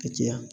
Ka tiya